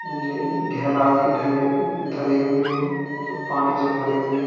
धरे हुए हैं जो पानी से भरे हुए हैं।